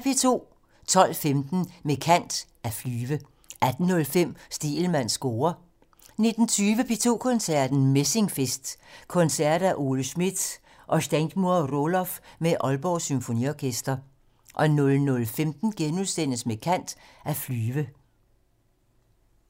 12:15: Med kant - At flyve 18:05: Stegelmanns score 19:20: P2 Koncerten - Messingfest: Koncerter af Ole Schmidt og Steingrimur Rohloff med Aalborg Symfoniorkester 00:15: Med kant - At flyve *